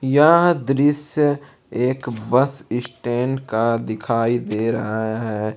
यह दृश्य एक बस स्टैंड का दिखाई दे रहा है।